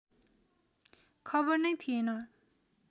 खबर नै थिएन